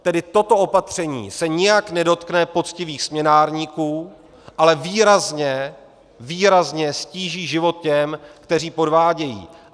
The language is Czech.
Tedy toto opatření se nijak nedotkne poctivých směnárníků, ale výrazně, výrazně ztíží život těm, kteří podvádějí.